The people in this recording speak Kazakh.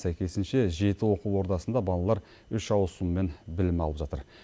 сәйкесінше жеті оқу ордасында балалар үш ауысыммен білім алып жатыр